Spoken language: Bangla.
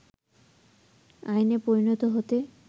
আইনে পরিণত হতে